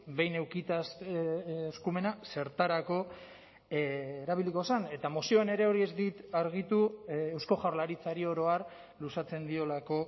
behin edukita eskumena zertarako erabiliko zen eta mozioan ere hori ez dit argitu eusko jaurlaritzari oro har luzatzen diolako